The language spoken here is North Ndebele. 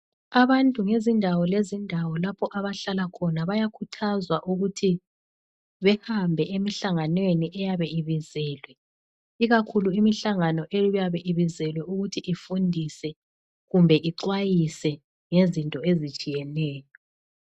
Abantu ngezindawo lezindawo lapho abehlala khona bayakhuthazwa ukuthi behambe emihlanganweni eyabe ibizelwe ikakhulu imihlangano eyabe ibizelwe ukuthi ifundise kumbe ixwayise ngezinto ezitshiyeneyo.